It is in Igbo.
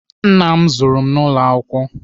Nna m zụrụ n'ụlọ akwụkwọ.